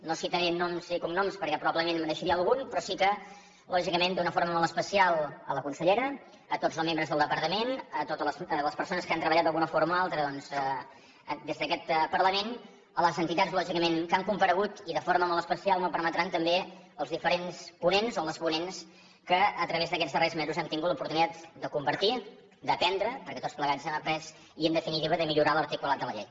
no citaré noms i cognoms perquè probablement me’n deixaria algun però sí que lògicament d’una forma molt especial a la consellera a tots el membres del departament a les persones que han treballat d’alguna forma o altra doncs de des d’aquest parlament a les entitats lògicament que han comparegut i de forma molt especial m’ho permetran també als diferents ponents o les ponents amb els quals a través d’aquests darrers mesos hem tingut l’oportunitat de compartir d’aprendre perquè tots plegats hem après i en definitiva de millorar l’articulat de la llei